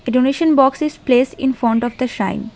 A donation box is place in front of the shine.